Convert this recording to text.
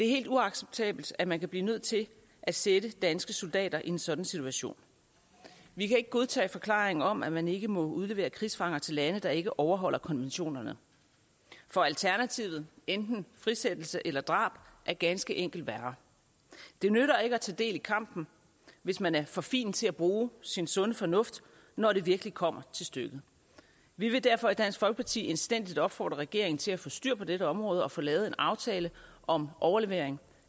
helt uacceptabelt at man kan blive nødt til at sætte danske soldater i en sådan situation vi kan ikke godtage forklaringen om at man ikke må udlevere krigsfanger til lande der ikke overholder konventionerne for alternativet enten frisættelse eller drab er ganske enkelt værre det nytter ikke at tage del i kampen hvis man er for fin til at bruge sin sunde fornuft når det virkelig kommer til stykket vi vil derfor i dansk folkeparti indstændigt opfordre regeringen til at få styr på dette område og få lavet en aftale om overlevering